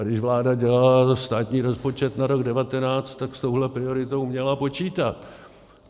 A když vláda dělala státní rozpočet na rok 2019, tak s touhle prioritou měla počítat.